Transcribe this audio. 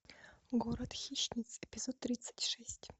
город хищниц эпизод тридцать шесть